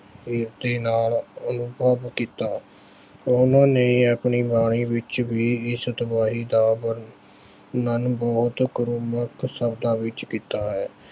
ਦੇ ਨਾਲ ਅਨੁਭਵ ਕੀਤਾ। ਉਹਨਾਂ ਨੇ ਆਪਣੀ ਬਾਣੀ ਵਿੱਚ ਵੀ ਇਸ ਤਬਾਹੀ ਦਾ ਵਰਨਣ ਬਹੁਤ ਕੁਰਖਤ ਸ਼ਬਦਾਂ ਵਿੱਚ ਕੀਤਾ ਹੈ।